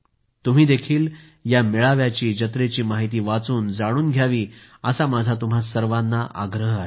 तुम्हीही या मेळाव्याची जत्रेची माहिती वाचून जाणून घ्यावी असा माझा तुम्हा सर्वांना आग्रह आहे